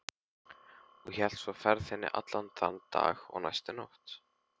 Og hélt svo ferðinni allan þann dag og næstu nótt.